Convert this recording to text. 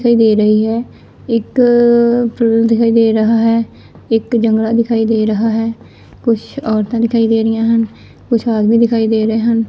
ਦੇ ਰਹੀ ਹੈ ਇੱਕ ਫੁੱਲ ਦਿਖਾਈ ਦੇ ਰਹਾ ਹੈ ਇਕ ਜੰਗਲਾ ਦਿਖਾਈ ਦੇ ਰਹਾ ਹੈ ਕੁਛ ਔਰਤਾਂ ਦਿਖਾਈ ਦੇ ਰਹੀਆਂ ਹਨ ਕੁਝ ਆਦਮੀ ਦਿਖਾਈ ਦੇ ਰਹੇ ਹਨ।